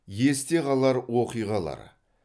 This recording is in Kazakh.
есте қалар оқиғалар